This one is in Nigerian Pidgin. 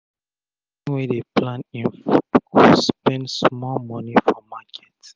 pesin wey dey plan e food go spend small moni for market